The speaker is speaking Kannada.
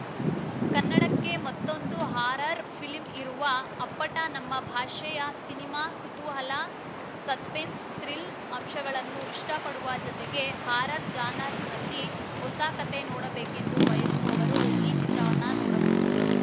ಕನ್ನಡಕ್ಕೆ ಮತ್ತೊಂದು ಹಾರರ್‌ ಫಿಲಂ ಇರುವ ಅಪ್ಪಟ ನಮ್ಮ ಭಾಷೆಯ ಸಿನಿಮಾ ಕುತೂಹಲ ಸಸ್ಪೆನ್ಸ್ ಥ್ರಿಲ್ಲ ಅಂಶಗಳನ್ನು ಇಷ್ಟಪಡುವ ಜತೆಗೆ ಹಾರರ್‌ ಜಾನರ್‌ನಲ್ಲಿ ಹೊಸ ಕತೆ ನೋಡಬೇಕೆಂದು ಬಯಸುವವರು ಈ ಚಿತ್ರವನ್ನ ನೋಡಬಹುದು